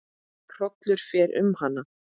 Hrollur fer um hana.